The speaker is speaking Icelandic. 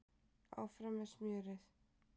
Áfram með smjörið